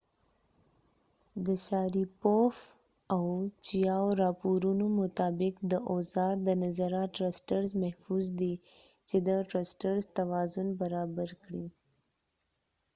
چېاو chiaoاو شاریپوف sharipov د راپورونو مطابق د اوزا ر د نظره محفوظ دي . چې د ټرسټرزtrusters توازن برابر کړي